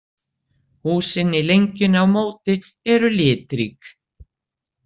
Húsin í lengjunni á móti eru litrík.